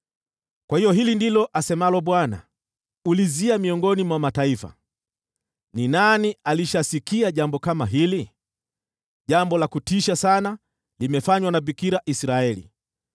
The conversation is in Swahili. Kwa hiyo hili ndilo asemalo Bwana : “Ulizia miongoni mwa mataifa: Ni nani alishasikia jambo kama hili? Jambo la kutisha sana limefanywa na Bikira Israeli.